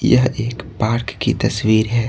यह एक पार्क की तस्वीर है।